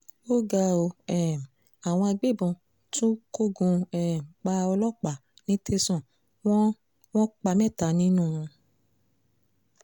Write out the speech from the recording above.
ó ga ọ́ um àwọn agbébọn tún kógun um ja ọlọ́pàá ní tẹ̀sán wọn wọ́n pa mẹ́ta dànù